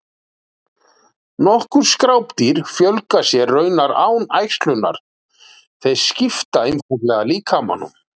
Nokkur skrápdýr fjölga sér raunar án æxlunar, þau skipta einfaldlega líkamanum.